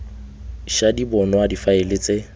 ša di bonwa difaele tse